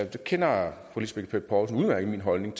der kender fru lisbeth bech poulsen udmærket min holdning